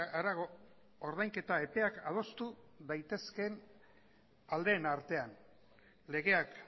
harago ordainketa epeak adostu daitezkeen aldeen artean legeak